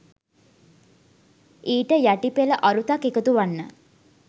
ඊට යටිපෙළ අරුතක් එකතු වන්න